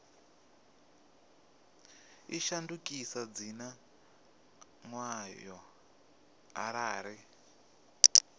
i shandukise dzina ḽayo arali